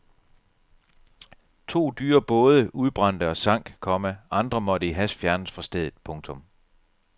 To dyre både udbrændte og sank, komma andre måtte i hast fjernes fra stedet. punktum